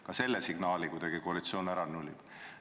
Ka selle signaali on koalitsioon kuidagi ära nullinud.